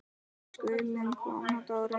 Við skulum koma Dóri!